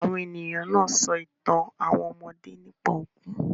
Àwọn ènìyàn náà sọ ìtàn àwọn ọmọdé nípa òkú.